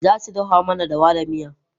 Za su dafa mana dawa da miya.